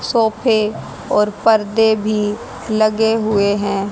सोफे और परदे भी लगे हुए हैं।